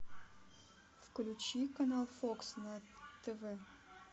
включи канал фокс на тв